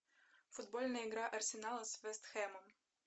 футбольная игра арсенала с вест хэмом